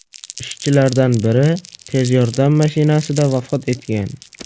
Ishchilardan biri tez yordam mashinasida vafot etgan.